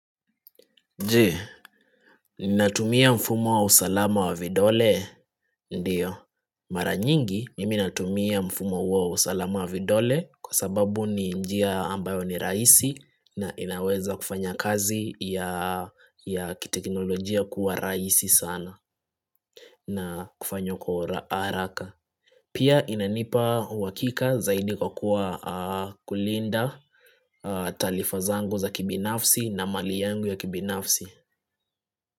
Je, ninatumia mfumo wa usalama wa vidole? Ndio. Mara nyingi, mimi natumia mfumo huo wa usalama wa vidole kwa sababu ni njia ambayo ni rahisi na inaweza kufanya kazi ya kiteknolojia kuwa rahisi sana na kufanywa kwa haraka. Pia inanipa uhakika zaidi kwa kulinda taarifa zangu za kibinafsi na mali yangu ya kibinafsi.